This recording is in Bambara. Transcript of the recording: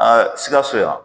sikaso yan